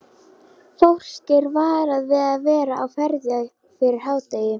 Fólk er varað við að vera á ferð fyrir hádegi.